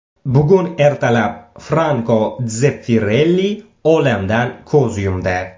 Bugun ertalab Franko Dzeffirelli olamdan ko‘z yumdi.